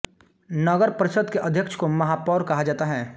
नगर परिषद के अध्यक्ष को महापौर कहा जाता है